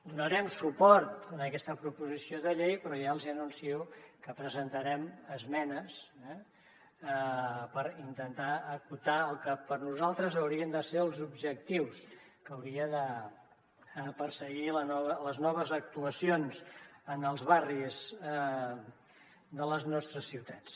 donarem suport a aquesta proposició de llei però ja els hi anuncio que hi presentarem esmenes eh per intentar acotar el que per nosaltres haurien de ser els objectius que haurien de perseguir les noves actuacions en els barris de les nostres ciutats